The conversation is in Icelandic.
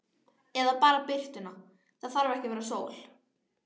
Eða bara birtuna, það þarf ekki að vera sól.